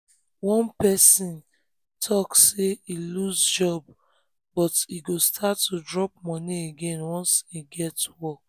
one person talk say e lose job but e go start to drop um money again um once e get um work.